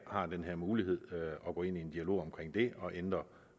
har den mulighed at gå ind i en dialog omkring det og ændre